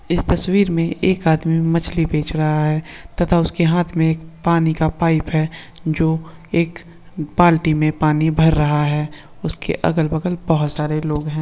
इस तस्वीर में एक आदमी मछली पेच रहा है। टाढा उस का हाथ में पानी का पाइप हे। जो एक बाल्टी में पानी पैर रहा है। उसके अगल बगल बहुत सरे लोग है।